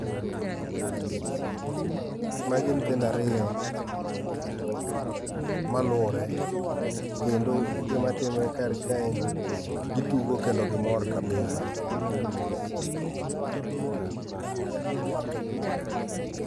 Magi nyithindo ariyo, maluwore. Kendo gima timre kar kaendi, gitugo kendo gimor kabisa.